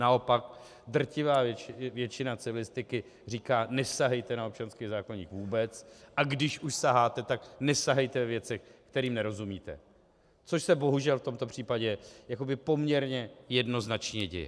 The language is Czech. Naopak, drtivá většina civilistiky říká: nesahejte na občanský zákoník vůbec, a když už saháte, tak nesahejte ve věcech, kterým nerozumíte - což se bohužel v tomto případě jakoby poměrně jednoznačně děje.